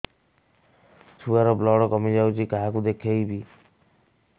ଛୁଆ ର ବ୍ଲଡ଼ କମି ଯାଉଛି କାହାକୁ ଦେଖେଇବି